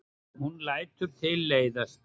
Hún lætur tilleiðast.